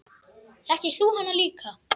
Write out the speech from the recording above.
Þekkir þú hana líka?